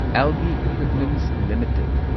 algae equipments limited